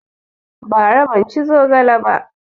Ba ra ban ci zogale ba